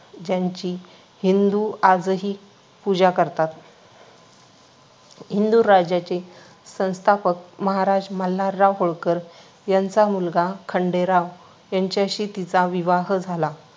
ज्यांची हिंदू आजही पूजा करतात. हिंदू राज्याचे संस्थापक महाराज मल्हारराव होळकर यांचा मुलगा खंडेराव यांच्याशी तिचा विवाह झाला.